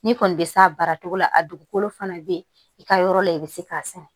N'i kɔni bɛ s'a baara cogo la a dugukolo fana bɛ i ka yɔrɔ la i bɛ se k'a sɛnɛ